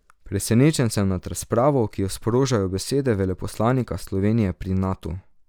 Presenečen sem nad razpravo, ki jo sprožajo besede veleposlanika Slovenije pri Natu.